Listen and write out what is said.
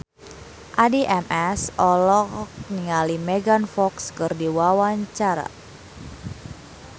Addie MS olohok ningali Megan Fox keur diwawancara